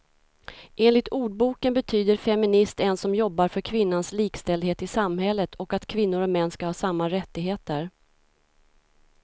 Enligt ordboken betyder feminist en som jobbar för kvinnans likställdhet i samhället och att kvinnor och män ska ha samma rättigheter.